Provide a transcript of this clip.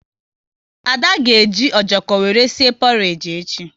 Ada ga eji ojoko wéré sie porage echi